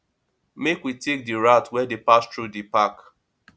make we take di route wey dey pass through di park